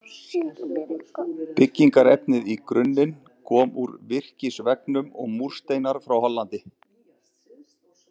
Byggingarefnið í grunninn kom úr virkisveggnum og múrsteinar frá Hollandi.